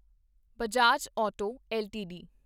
Bajaj auto LTD